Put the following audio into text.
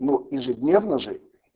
ну ежедневно же